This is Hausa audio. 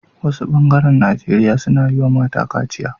Wasu bengaren nageria suna yi wa mata kaciya